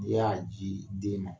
I y'a ji den ma